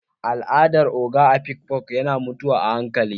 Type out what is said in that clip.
Al'adar ogo a Afikfo yana mutuwa a hankali